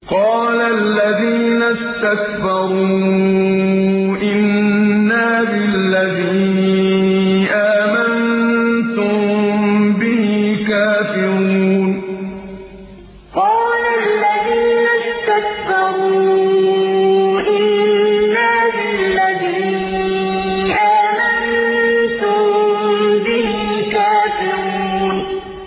قَالَ الَّذِينَ اسْتَكْبَرُوا إِنَّا بِالَّذِي آمَنتُم بِهِ كَافِرُونَ قَالَ الَّذِينَ اسْتَكْبَرُوا إِنَّا بِالَّذِي آمَنتُم بِهِ كَافِرُونَ